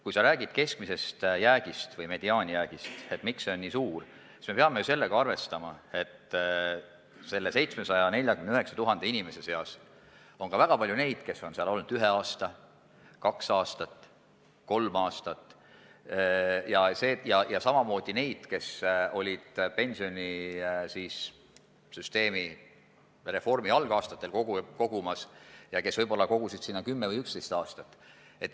Kui sa räägid keskmisest jäägist või mediaanist – et miks see on selline –, siis peame arvestama sellega, et nende 749 000 inimese seas on ka väga palju neid, kes on sambas olnud kaks aastat, kolm aastat, ja samamoodi on neid, kes kogusid sambasse pensionisüsteemi reformi algaastatel ja kes võib-olla kogusidki ainult 10–11 aastat.